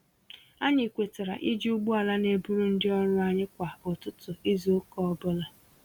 Anyị kwetara iji ụgbọala n'eburu ndị ọrụ anyị kwá ụtụtụ izu ụka ọbula